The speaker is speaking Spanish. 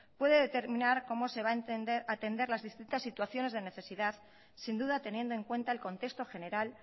puede determinar cómo se va a atender las distintas situaciones de necesidad sin duda teniendo en cuenta el contexto general